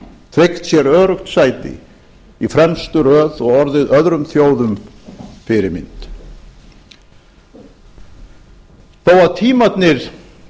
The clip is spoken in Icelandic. tryggt sér öruggt sæti í fremstu röð og orðið öðrum þjóðum fyrirmynd þó að tímarnir